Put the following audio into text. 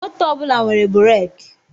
Moto ọbụla nwere bụraki